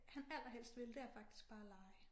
Han allerhelst vil det er faktisk bare at lege